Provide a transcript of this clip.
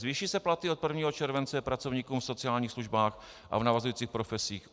Zvýší se platy od 1. července pracovníkům v sociálních službách a v navazujících profesích?